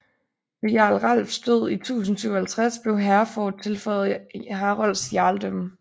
Ved jarl Ralfs død i 1057 blev Hereford tilføjet Harolds jarldømme